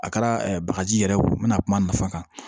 A kɛra bagaji yɛrɛ wo n mɛna kuma nafa kan